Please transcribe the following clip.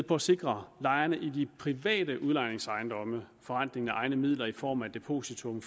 på at sikre lejerne i de private udlejningsejendomme forrentningen af egne midler i form af depositum